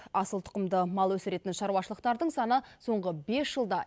асыл тұқымды мал өсіретін шаруашылықтардың саны соңғы бес жылда